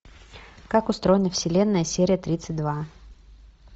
как устроена вселенная серия тридцать два